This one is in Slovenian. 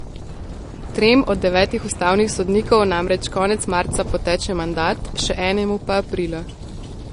Trem od devetih ustavnih sodnikov namreč konec marca poteče mandat, še enemu pa aprila.